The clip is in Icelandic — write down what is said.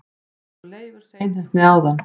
eins og Leifur seinheppni áðan!